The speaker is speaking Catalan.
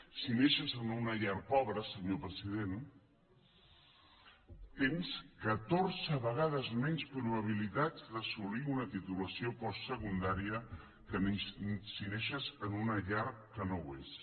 si neixes en una llar pobra senyor president tens catorze vegades menys probabilitats d’assolir una titulació postsecundària que si neixes en una llar que no ho és